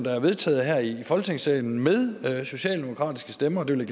er vedtaget her i folketingssalen med socialdemokratiske stemmer og det vil